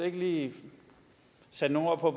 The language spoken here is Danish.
ikke lige sætte nogle ord på